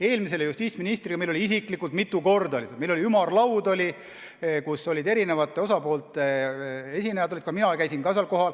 Eelmise justiitsministriga meil oli mitu korda ümarlaud, kus olid kohal eri osapoolte esindajad.